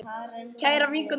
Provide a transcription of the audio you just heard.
Kæra vinkona Anna.